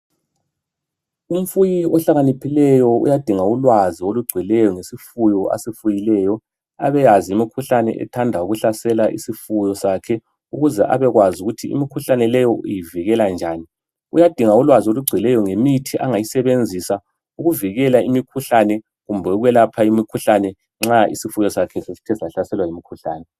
Umfuyi ohlakaniphileyo uyadinga ulwazi olugcweleyo ngesifuyo asifuyileyo abeyazi imikhuhlane ethanda ukuhlasela isifuyo sakhe ukuze abekwazi ukuthi imikhuhlane leyi uyivikela njani. Uyadinga ulwazi olugcweleyo ngemithi angayisebenzisa ukuvikela imikhuhlane kumbe ukwelapha imikhuhlane nxa isifuyo sakhe sesithe sahlaselwa yimikhuhlane.